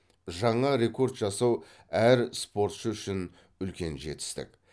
жаңа рекорд жасау әр спортшы үшін үлкен жетістік